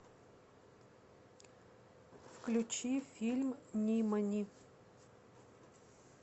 включи фильм нимани